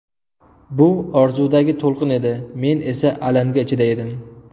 Bu orzudagi to‘lqin edi, men esa alanga ichida edim.